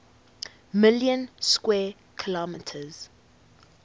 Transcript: million square kilometers